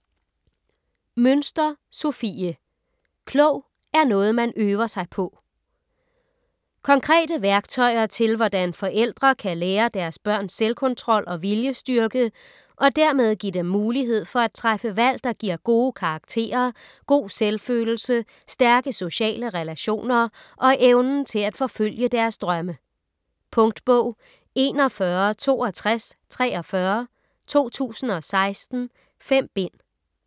Münster, Sofie: Klog er noget, man øver sig på Konkrete værktøjer til hvordan forældre kan lære deres børn selvkontrol og viljestyrke, og dermed give dem mulighed for træffe valg der giver gode karakterer, god selvfølelse, stærke sociale relationer og evnen til at forfølge deres drømme. Punktbog 416243 2016. 5 bind.